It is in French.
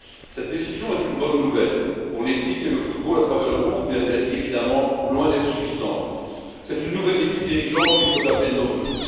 Cette décision est une bonne nouvelle pour l'éthique et le football à travers le monde, mais elle est évidemment loin d'être suffisante c'est une nouvelle équipe dirigeante qu'il faut appeler de nos vœux.